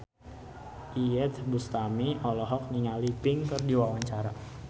Iyeth Bustami olohok ningali Pink keur diwawancara